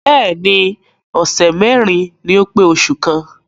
Bẹ́ẹ̀ni ọ̀sẹ̀ mẹ́rin ni ó pé oṣù kan.